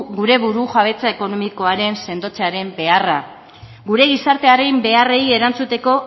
gure burujabetza ekonomikoaren sendotzearen beharra gure gizartearen beharrei erantzuteko